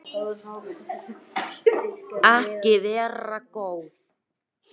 Treystu ekki fólkinu í landinu